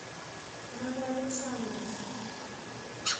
новоалександровску